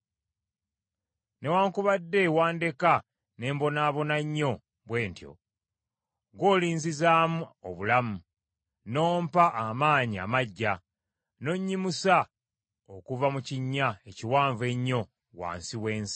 Newaakubadde wandeka ne mbonaabona nnyo bwe ntyo, ggw’olinzizaamu obulamu, n’ompa amaanyi amaggya, n’onnyimusa okuva mu kinnya ekiwanvu ennyo wansi w’ensi.